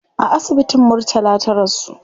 A asibitin murtala ta rasu